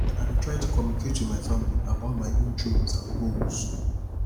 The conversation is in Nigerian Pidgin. i dey try to communicate with family about my own dreams and goals